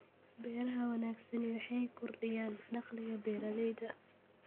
Beeraha wanaagsani waxay kordhiyaan dakhliga beeralayda.